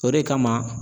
O de kama